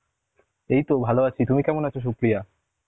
এইতো ভাল আছি তুমি কেমন আছ সুপ্রিয়া?